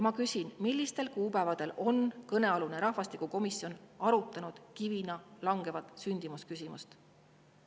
Ma küsin: millistel kuupäevadel on kõnealune rahvastikukomisjon arutanud kivina langeva sündimuse küsimust?